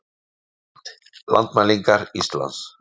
Mynd: Landmælingar Íslands